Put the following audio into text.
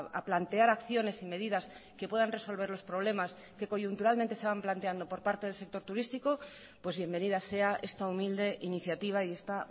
a plantear acciones y medidas que puedan resolver los problemas que coyunturalmente se van planteando por parte del sector turístico pues bienvenida sea esta humilde iniciativa y esta